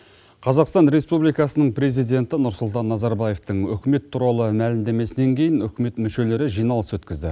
қазақстан республикасының президенті нұрсұлтан назарбаевтың үкімет туралы мәлімдемесінен кейін үкімет мүшелері жиналыс өткізді